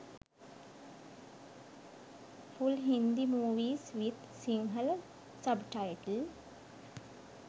full hindi movies with sinhala subtitle